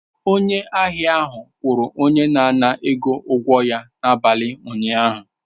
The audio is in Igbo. Onye ahịa ahụ kwụrụ onye na-ana ego ụgwọ ya n'abalị ụnyaahụ.